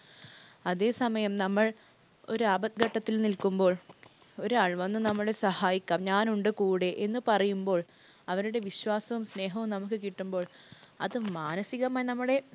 അതെ സമയം നമ്മൾ ഒരു ആപത്‌ഘട്ടത്തിൽ നിൽക്കുമ്പോൾ ഒരാൾ വന്നു, നമ്മളെ സഹായിക്കാം. ഞാനുണ്ട് കൂടെ എന്ന് പറയുമ്പോൾ അവരുടെ വിശ്വാസവും, സ്നേഹവും നമുക്ക് കിട്ടുമ്പോൾ അത് മാനസികമായി നമ്മുടെ